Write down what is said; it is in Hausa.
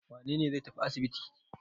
Wane ne zai tafi asibiti?